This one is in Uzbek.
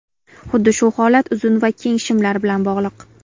Xuddi shu holat uzun va keng shimlar bilan bog‘liq.